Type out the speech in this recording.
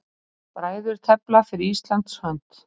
Bræður tefla fyrir Íslands hönd